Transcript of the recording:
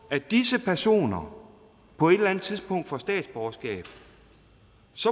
at disse personer på et eller andet tidspunkt får statsborgerskab